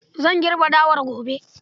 Zan girbe dawar gobe.